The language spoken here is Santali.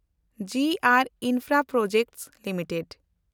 G and infraproject limited